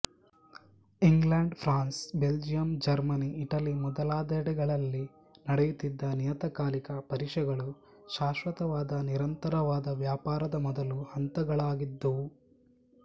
England France Belgium Germany Italy ಮೊದಲಾದೆಡೆಗಳಲ್ಲಿ ನಡೆಯುತ್ತಿದ್ದ ನಿಯತಕಾಲಿಕ ಪರಿಷೆಗಳು ಶಾಶ್ವತವಾದ ನಿರಂತರವಾದ ವ್ಯಾಪಾರದ ಮೊದಲ ಹಂತಗಳಾಗಿದ್ದುವು